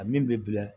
A min bɛ bila